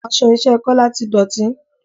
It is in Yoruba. Aṣọ iṣẹ́ Kola ti dọ̀tí